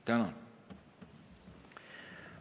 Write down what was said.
Tänan!